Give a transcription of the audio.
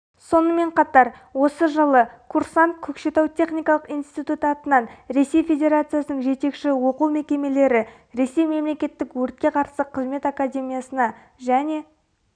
сонымен қатар осы жылы курсант көкшетау техникалық институт атынан ресей федерациясының жетекші оқу мекемелері ресей мемлекеттік өртке қарсы қызмет академиясына және